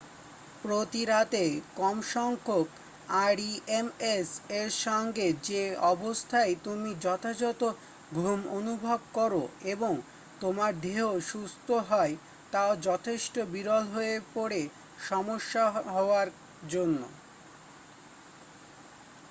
প্রতিরাত্রে কমসংখ্যক rems এর সঙ্গে যে অবস্থায় তুমি যথাযথ ঘুম অনুভব করো এবং তোমার দেহ সুস্থ হয় তা যথেষ্ট বিরল হয়ে পড়ে সমস্যা হওয়ার জন্য